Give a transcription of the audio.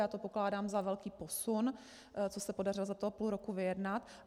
Já to pokládám za velký posun, co se podařilo za toho půl roku vyjednat.